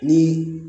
Ni